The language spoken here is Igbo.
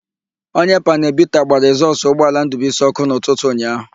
Onye panelu bita gbara ekzọsụ ụgbọala Ndụbuisi ọ́kụ́ n'ụtụtụ ụnyaahụ.